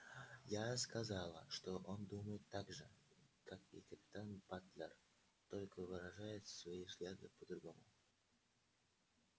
я сказала что он думает так же как и капитан батлер только выражает свои взгляды по-другому